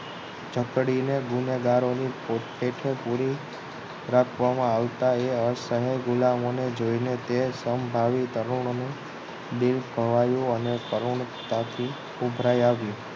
જકડીને ગુનેગારોને હેઠે હેઠ પુરી રાખવામા આવતા એ અસહ્ય ગુલામોને જોઈને તે સમભાવી તરુણ દિલ સવાયું અને કરુણતાથી ઉભરાઈ આવ્યું